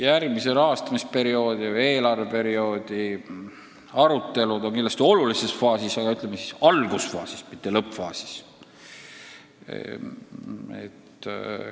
Järgmise rahastamisperioodi või eelarveperioodi arutelud on kindlasti olulises faasis, aga alles algusfaasis, mitte lõppfaasis.